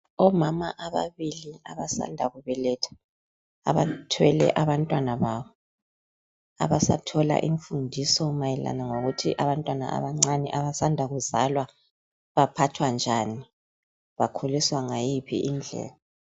Omama ababili abasanda kubeletha abathwele abantwana babo abasathola imfundiso mayelana lokuthi abantwana abancane abasanda kuzalwa baphathwa njani bakhuliswa ngayiphi indlela.